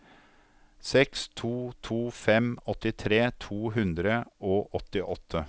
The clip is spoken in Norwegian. seks to to fem åttitre to hundre og åttiåtte